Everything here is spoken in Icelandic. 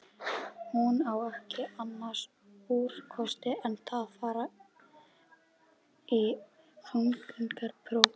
Hún á ekki annars úrkosti en að fara í þungunarpróf.